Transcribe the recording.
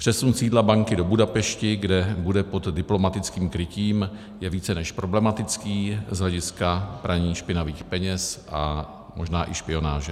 Přesun sídla banky do Budapešti, kde bude pod diplomatickým krytím, je více než problematický z hlediska praní špinavých peněz a možná i špionáže.